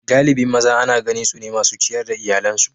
galibin maza Ana ganin su ne masu ciyar da iyalansu